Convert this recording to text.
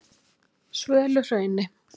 Svöluhrauni